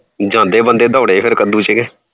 ਜਾਂਦੇ ਬੰਦੇ ਫੇਰ ਕੱਦੂ ਚ ਦੋੜੇ